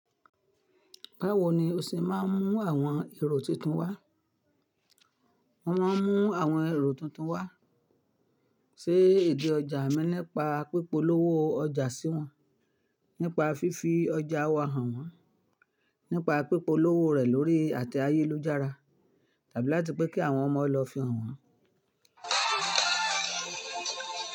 Báwo ni ó ṣe máa ń mú àwọn èrò tuntun wá? Wọ́n máa ń mú àwọn èrò tuntun wá sé idi ọjà mi nipa píp'olówó ọjà sí wọn, nípa fífi ọjà wa hàn wọ́n, nípa píp'olówó rè lórí àte ayélujára tàbí láti pé kí àwọn ọmọ lọ fihàn wọ́n.